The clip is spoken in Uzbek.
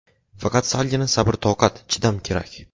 Faqat salgina sabr-toqat, chidam kerak.